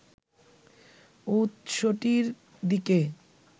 উৎসটির দিকে